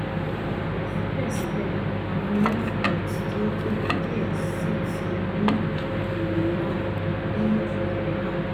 sibẹsibẹ awọn lymph nodes ti o tobi diẹ sii ti o ni iwọn one ni iwọn one